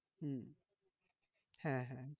হম হ্যাঁ হ্যাঁ